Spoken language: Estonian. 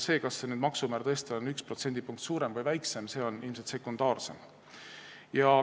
See, kas maksumäär on 1% suurem või väiksem, on ilmselt sekundaarsem.